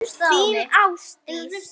Þín, Ásdís.